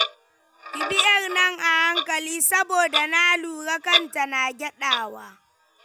Ki bi ƴar nan a hankali saboda na lura kanta na gyaɗawa.